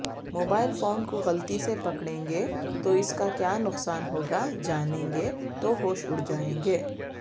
mobile phone کوغلطی سےپکڑیں گے تواس کاکیا نقصان ہوگاجانیں گے توہوش اڑ جائیں گے